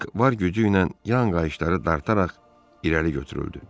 Bak var gücü ilə yan qayışları dartaraq irəli götürüldü.